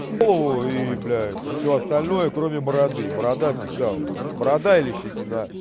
ой блядь всё остальное кроме бороды борода всегда у меня борода или щетина